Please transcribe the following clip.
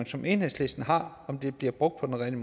som enhedslisten har om det bliver brugt på den